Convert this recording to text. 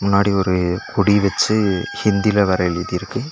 முன்னாடி ஒரு கொடி வச்சு ஹிந்தில வேற எழுதிருக்கு.